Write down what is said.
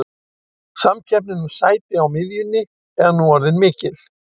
Samkeppnin um sæti á miðjunni er nú orðin mikil.